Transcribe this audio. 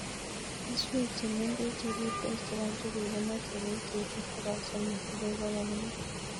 Keswek chemeng'ech chepitos chepo njuguk ko mache peek cheite pokol somok akoi pokol mut